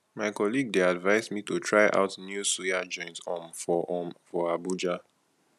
my colleague dey advise me to try out new suya joint um for um for abuja